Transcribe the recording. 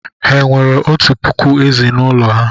Ha enwere otu puku ezì n'ụlọ ha?